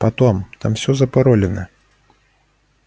потом там всё запаролено